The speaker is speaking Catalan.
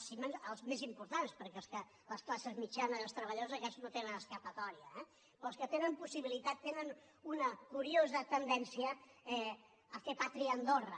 els més importants perquè les classes mitjanes els treballadors aquests no tenen escapatòria eh però els que tenen possibilitat tenen una curiosa tendència a fer pàtria a andorra